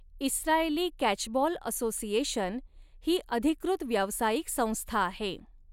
Israeli catchball association ही अधिकृत व्यावसायिक संस्था आहे.